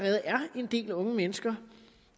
en del unge mennesker